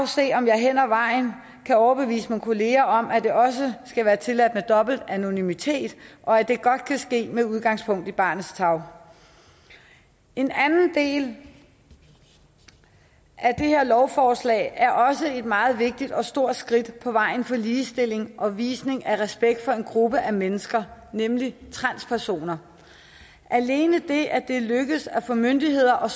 se om jeg hen ad vejen kan overbevise mine kollegaer om at det også skal være tilladt med dobbelt anonymitet og at det godt kan ske med udgangspunkt i barnets tarv en anden del af det her lovforslag er også et meget vigtigt og stort skridt på vejen til ligestilling og visning af respekt for en gruppe af mennesker nemlig transpersoner alene det at det er lykkedes at få myndigheder og